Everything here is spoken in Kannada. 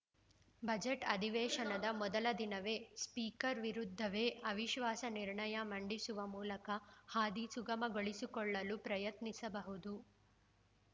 ಬಜೆಟ್‌ ಅಧಿವೇಶನದ ಮೊದಲ ದಿನವೇ ಸ್ಪೀಕರ್‌ ವಿರುದ್ಧವೇ ಅವಿಶ್ವಾಸ ನಿರ್ಣಯ ಮಂಡಿಸುವ ಮೂಲಕ ಹಾದಿ ಸುಗಮಗೊಳಿಸಿಕೊಳ್ಳಲು ಪ್ರಯತ್ನಿಸಬಹುದು